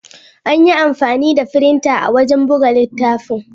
An yi amfani da firinta wajen buga littafin.